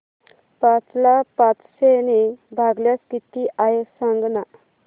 पाच ला पाचशे ने भागल्यास किती आहे सांगना